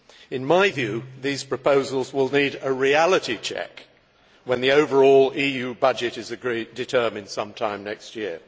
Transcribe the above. In my view, these proposals will need a reality check when the overall EU budget is determined some time next year.